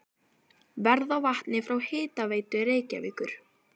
Verð á vatni frá Hitaveitu Reykjavíkur